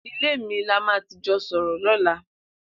Ilé mi là mà ti jọ sọrọ lọ̀là